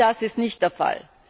All das ist nicht der Fall.